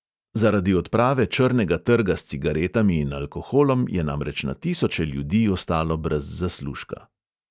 Zaradi odprave črnega trga s cigaretami in alkoholom je namreč na tisoče ljudi ostalo brez zaslužka.